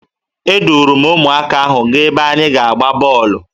Eduru m ụmụaka ahụ gaa ebe anyị ga-aga gbaa bọọlụ